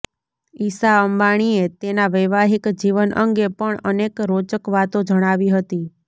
ઈશા અંબાણીએ તેના વૈવાહિક જીવન અંગે પણ અનેક રોચક વાતો જણાવી હતી